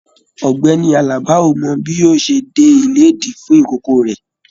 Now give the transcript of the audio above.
Ọ̀gbẹ́ni Àlàbá o mọ bi yóò ṣẹ dé ilédì fún ikòkò rẹ.